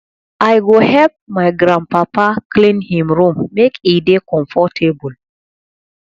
i go help my grandpapa clean him room make e dey comfortable